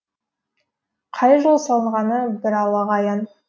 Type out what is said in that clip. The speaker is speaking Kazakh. қай жылы салынғаны бір аллаға аян